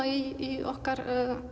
í okkar